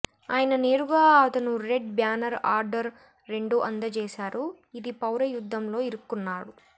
ఆయన నేరుగా అతను రెడ్ బ్యానర్ ఆర్డర్ రెండు అందజేశారు ఇది పౌర యుద్ధం లో ఇరుక్కున్నాడు